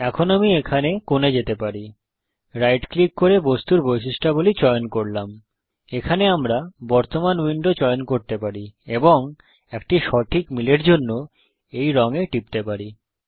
এখন আমি এখানে কোণে যেতে পারি রাইট ক্লিক করে বস্তুর বৈশিষ্ট্যাবলী অবজেক্ট প্রপারটিস চয়ন করলাম এখানে আমরা বর্তমান উইন্ডো চয়ন করতে পারি এবং একটি সঠিক মিলের জন্য এই রঙ এ টিপতে পারি